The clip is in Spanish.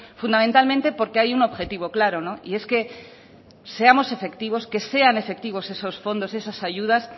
fundamentalmente porque hay un objetivo claro y es que seamos efectivos que sean efectivos esos fondos esas ayudas